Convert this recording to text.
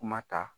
Kuma ta